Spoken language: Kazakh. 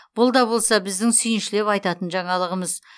бұл да болса біздің сүйіншілеп айтатын жаңалығымыз